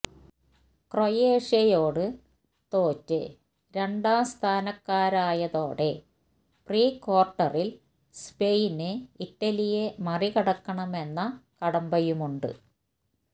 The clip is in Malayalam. ക്രൊയേഷ്യയോട് തോറ്റ് രണ്ടാം സ്ഥാനക്കാരയതോടെ പ്രീ ക്വാര്ട്ടറില് സ്പെയിനിന് ഇറ്റലിയെ മറികടക്കണമെന്ന കടമ്പയുമുണ്ട്